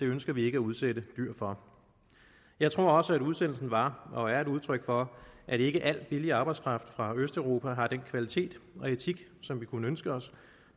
ønsker vi ikke at udsætte dyr for jeg tror også at udsendelsen var og er et udtryk for at ikke al billig arbejdskraft fra østeuropa har den kvalitet og etik som vi kunne ønske os